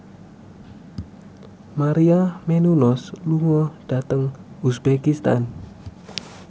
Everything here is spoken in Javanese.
Maria Menounos lunga dhateng uzbekistan